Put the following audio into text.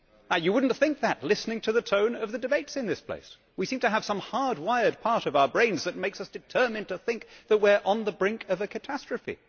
You would not think that listening to the tone of the debates in this place. We seem to have some hardwired part of our brains that makes us determined to think that we are on the brink of a catastrophe.